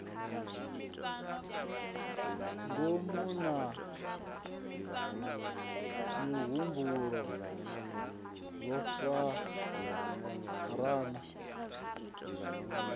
ngomu na mihumbulo zwo farana